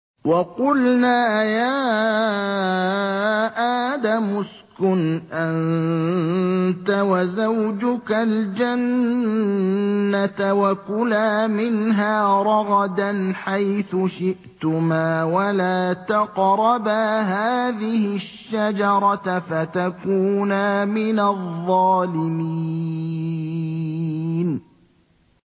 وَقُلْنَا يَا آدَمُ اسْكُنْ أَنتَ وَزَوْجُكَ الْجَنَّةَ وَكُلَا مِنْهَا رَغَدًا حَيْثُ شِئْتُمَا وَلَا تَقْرَبَا هَٰذِهِ الشَّجَرَةَ فَتَكُونَا مِنَ الظَّالِمِينَ